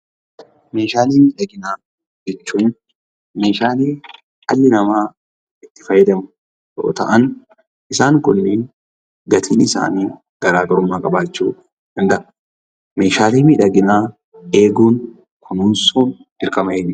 Meeshaalee miidhaginaa jechuun meeshaalee dhalli namaa itti fayyadamu yoo ta'an isaan kunneen gatiin isaanii garaagarummaa qabaachuu danda'a. Meeshaalee miidhaginaa eeguun, kunuunsuun dirqama eenyuuti?